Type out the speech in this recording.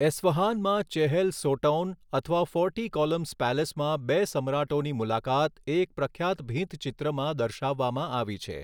એસ્ફહાનમાં Chehel Sotoun અથવા forty columns પેલેસમાં બે સમ્રાટોની મુલાકાત એક પ્રખ્યાત ભીંત ચિત્રમાં દર્શાવવામાં આવી છે.